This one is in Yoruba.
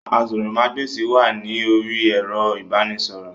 Àsòrọmagbesi wà ní orí ẹrọ ibanisọrọ.